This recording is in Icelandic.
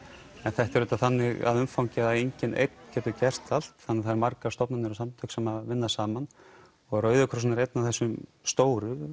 en þetta er auðvitað þannig að umfangi að enginn einn getur gert allt þannig það eru margar stofnanir og samtök sem vinna saman og Rauði krossinn er einn af þessum stóru